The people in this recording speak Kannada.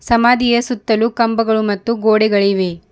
ಸಮಾಧಿಯ ಸುತ್ತಲು ಕಂಬಗಳು ಮತ್ತು ಗೋಡೆಗಳಿವೆ.